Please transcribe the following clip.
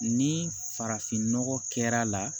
Ni farafinnɔgɔ kɛr'a la